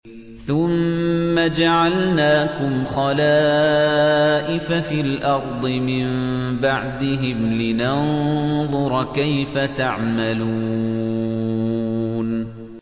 ثُمَّ جَعَلْنَاكُمْ خَلَائِفَ فِي الْأَرْضِ مِن بَعْدِهِمْ لِنَنظُرَ كَيْفَ تَعْمَلُونَ